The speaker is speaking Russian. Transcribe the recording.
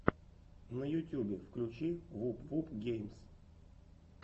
на ютюбе включи вуп вуп геймс